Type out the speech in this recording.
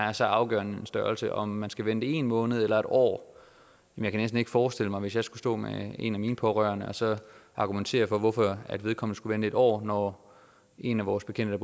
er så afgørende en størrelse om man skal vente en måned eller en år jeg kan næsten ikke forestille mig hvis jeg skulle stå med en af mine pårørende og så argumentere for hvorfor vedkommende skulle vente en år når en af vores bekendte